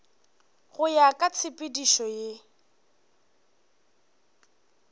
go ya ka tshepedišo ye